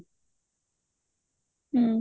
ହୁଁ